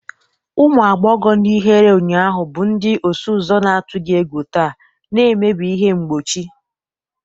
Ụmụ agbọghọ ndị ihere ụnyaahụ bụ ndị ọsụ ụzọ na-atụghị egwu taa, na-emebi ihe mgbochi.